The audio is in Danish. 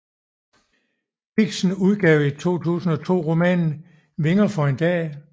Dixen udgav i 2002 romanen Vinger for en dag